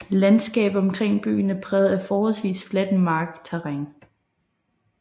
Landskabet omkring byen er præget af forholdvis fladt markterræn